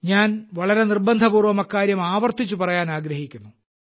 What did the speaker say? ഞാൻ വളരെ നിർബന്ധപൂർവ്വം അക്കാര്യം ആവർത്തിച്ചു പറയുവാൻ ആഗ്രഹിക്കുന്നു